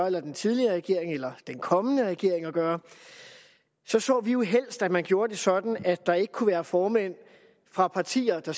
eller den tidligere regering eller den kommende regering at gøre så så vi jo helst at man gjorde det sådan at der ikke kunne være formænd fra partier der